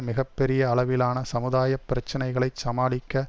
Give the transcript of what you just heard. மிக பெரிய அளவிலான சமுதாய பிரச்சனைகளைச் சமாளிக்க